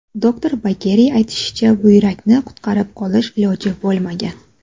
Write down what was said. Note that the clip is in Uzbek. Doktor Bageriy aytishicha, buyrakni qutqarib qolish iloji bo‘lmagan.